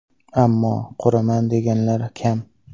Ammo quraman deganlari kam.